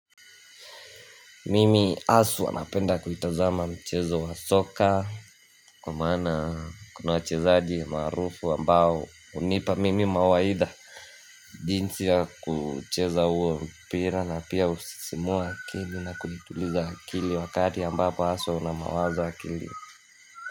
Mimi aswa napenda kuitazama mchezo wa soka Kwa maana kuna wachezaji maarufu ambao hunipa mimi mawaidha jinsi ya kucheza huo mpira na pia husisimua akili na kuituliza akili wakati ambapo aswa una mawazo akilini.